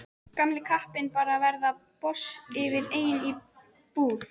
Gamli kappinn bara að verða boss yfir eigin búð.